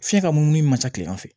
Fiɲɛ ka munumunu ma ca kileman fɛ